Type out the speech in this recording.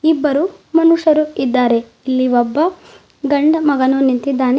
ಇಬ್ಬರು ಮನುಷ್ಯರು ಇದ್ದಾರೆ ಇಲ್ಲಿ ಒಬ್ಬ ಗಂಡಮಗನು ನಿಂತಿದ್ದಾನೆ.